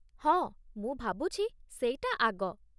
ହଁ, ମୁଁ ଭାବୁଛି, ସେଇଟା ଆଗ ।